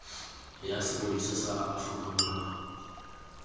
ya sepodisi sa aforika borwa